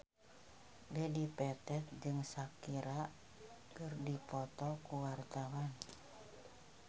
Dedi Petet jeung Shakira keur dipoto ku wartawan